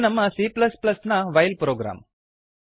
ಇದು ನಮ್ಮ c ನ ವೈಲ್ ಪ್ರೊಗ್ರಾಮ್